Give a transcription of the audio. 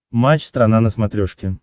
матч страна на смотрешке